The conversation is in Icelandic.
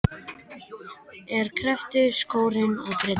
En hér kreppti skórinn að Bretum.